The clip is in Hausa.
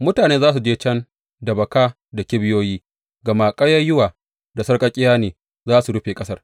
Mutane za su je can da baka da kibiyoyi, gama ƙayayyuwa da sarƙaƙƙiya ne za su rufe ƙasar.